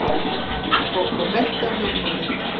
Kókó benti á hljómborðið.